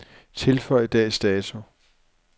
Tilføj dags dato.